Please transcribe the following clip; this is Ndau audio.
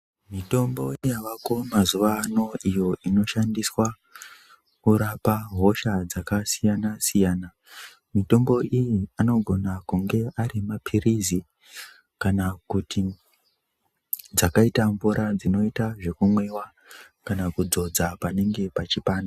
Mitombo yavako mazuwano iyo inoshandiswa kurapa hosha dzakasiyana siyana mitombo iyi anogona kunge arimapirizi kana kuti dzakaita mvura dzinoita dzekumwiwa kana kudzodza panenge pachipanda.